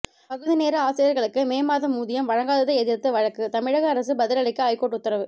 பகுதிநேர ஆசிரியர்களுக்கு மே மாதம் ஊதியம் வழங்காததை எதிர்த்து வழக்கு தமிழக அரசு பதிலளிக்க ஐகோர்ட்டு உத்தரவு